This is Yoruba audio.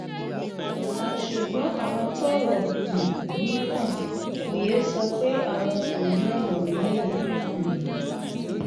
ṣùgbọn àwọn tọrọ um yìí kàn kò yéé sọ pé àwọn kò ní ọnà miín um